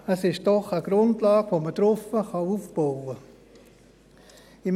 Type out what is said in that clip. Es ist eine Grundlage, auf der man aufbauen kann.